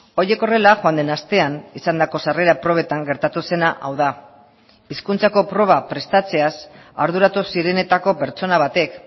horiek horrela joan den astean izandako sarrera probetan gertatu zena hau da hizkuntzako proba prestatzeaz arduratu zirenetako pertsona batek